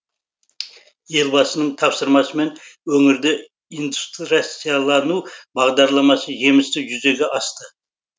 елбасының тапсырмасымен өңірде индустрияландыру бағдарламасы жемісті жүзеге асты